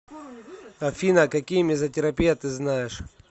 афина какие мезотерапия ты знаешь